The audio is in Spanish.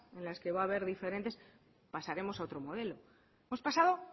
en las que va a haber diferentes pasaremos a otro modelo hemos pasado